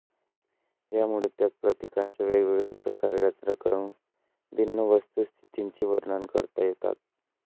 ह्यामुळे त्याच प्रतीकांची वेगवेगळ्या प्रकारे रचना करून भिन्न वस्तुस्थितींचे वर्णने करता येतात